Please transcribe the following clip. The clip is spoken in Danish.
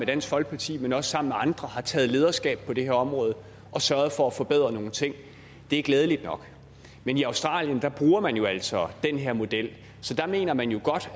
dansk folkeparti men også sammen med andre har taget lederskab på det her område og har sørget for at forbedre nogle ting det er glædeligt nok men i australien bruger man jo altså den her model så der mener man jo